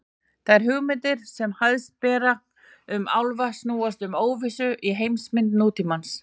Þær hugmyndir sem hæst ber um álfa snúast um óvissuna í heimsmynd nútímans.